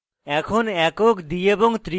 এখন